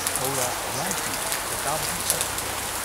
ꯍꯧꯔꯥ ꯔꯥꯟꯆꯤ ꯁꯥꯇꯥꯕꯗꯤ ꯑꯦꯛꯁꯄ꯭ꯔꯦꯁ